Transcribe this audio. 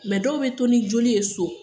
dɔw bɛ to ni joli ye so